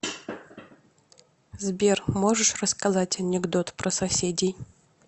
сбер можешь рассказать анекдот про соседей